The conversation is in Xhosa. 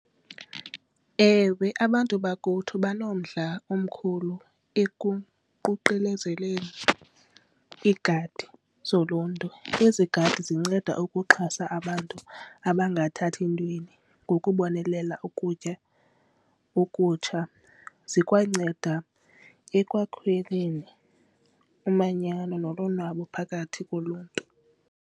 Ewe, abantu bakuthi banomdla omkhulu ekuququzeleleni iigadi zoluntu. Ezi gadi zinceda ukuxhasa abantu abangathathi ntweni ngokubonelela ukutya okutsha zikwanceda ekwakheni umanyano nolonwabo phakathi koluntu.